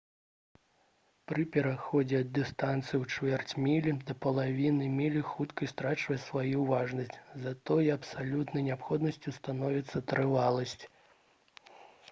пры пераходзе ад дыстанцыі ў чвэрць мілі да паловы мілі хуткасць страчвае сваю важнасць затое абсалютнай неабходнасцю становіцца трываласць